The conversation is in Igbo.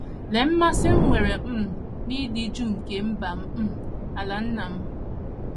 Lee mmasị m nwere um n’ịdị jụụ nke mba um a, ala nna m